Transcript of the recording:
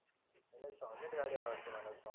अरे सौलेंड गाडी आवडते मला